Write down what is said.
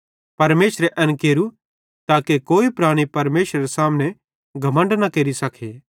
परमेशरे एन केरू ताके कोई प्राणी परमेशरेरे सामने घमण्ड न केरि सके